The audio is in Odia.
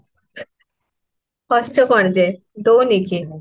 ହସୁଛ କଣ ଯେ ଦଉନି କି ମୁଁ?